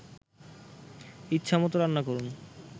ইচ্ছামতো রান্না করুন